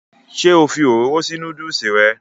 ṣé ó fi òróró sí núdùsì rẹ̀?